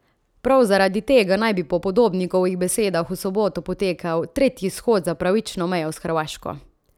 Prav zaradi tega naj bi po Podobnikovih besedah v soboto potekal tretji shod za pravično mejo s Hrvaško.